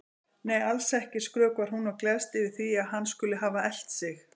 Nei, alls ekki, skrökvar hún og gleðst yfir því að hann skuli hafa elt sig.